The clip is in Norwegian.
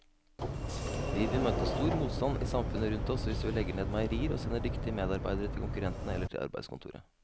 Vi vil møte stor motstand i samfunnet rundt oss hvis vi legger ned meierier og sender dyktige medarbeidere til konkurrentene eller til arbeidskontoret.